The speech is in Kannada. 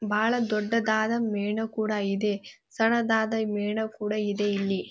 ಬಹಳ ದೊಡ್ಡದಾದ ಮೇಣ ಕೂಡ ಇದೆ. ಸಣದಾದ ಮೇಣ ಕೂಡ ಇದೆ ಇಲ್ಲಿ.